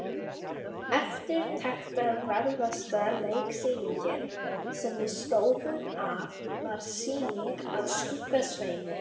Eftirtektarverðasta leiksýningin, sem við stóðum að, var sýning á Skugga-Sveini.